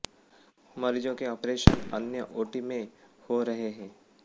मरीजों के ऑपरेशन अन्य ओटी में हो रहे हैं